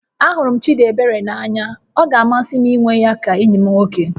Ahụrụ m Chịdịebere n'anya, ọ ga-amasị m ịnwe ya ka enyi m nwoke